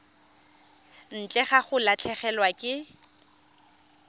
ntle ga go latlhegelwa ke